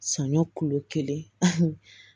Sɔɲɔ kulo kelen